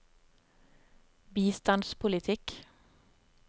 bistandspolitikk